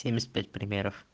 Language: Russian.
семьдесят пять примеров